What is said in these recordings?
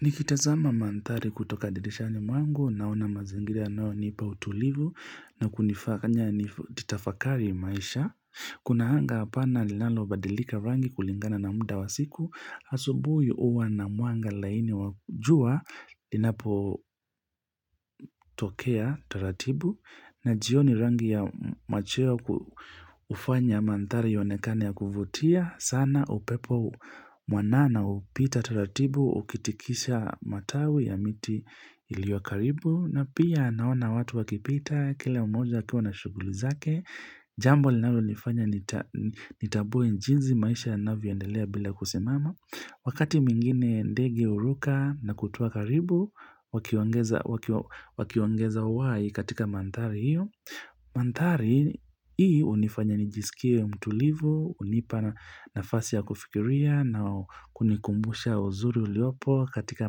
Nikitazama manthari kutoka dirishani mwangu nauna mazingira yanayo nipa utulivu na kunifanya nitafakari maisha. Kuna hanga apana lilalo badilika rangi kulingana na muda wa siku. Asubuhi uwa na mwanga laini wa jua linapo tokea taratibu na jioni rangi ya macheo ufanya manthari yaonekane ya kuvutia. Sana upepo mwanana upita tulatibu ukitikisha matawi ya miti iliyo karibu na pia naona watu wakipita kila mmoja akiwa na shughuli zake jambo linalonifanya nitambue jinsi maisha yanavyoeondelea bila kusimama wakati mwingine ndegi huruka na kutua karibu wakiongeza uhai katika manthari hiyo manthari hii unifanya nijisikie mtulivu unipa nafasi ya kufikiria na kunikumbusha uzuri uliopo katika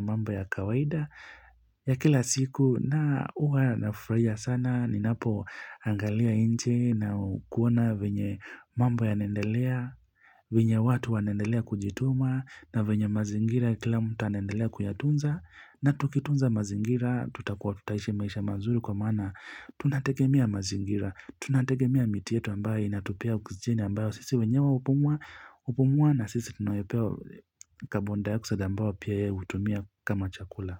mamba ya kawaida ya kila siku na uwa nafurahia sana ninapo angalia inje na kuona venye mambo yanaendelea venye watu wa nendelea kujituma na venye mazingira kila mtu ananendelea kuyatunza na tukitunza mazingira tutakuwa tutaishi maisha mazuri kwa maana tunategemea mazingira, tunategemea miti yetu ambaye inatupea oksijeni ambayo sisi wenyewe upumua upumua na sisi tunayopewa kabonda ya kusada ambayo pia ya utumia kama chakula.